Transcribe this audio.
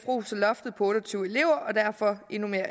roser loftet på otte og tyve elever og derfor endnu mere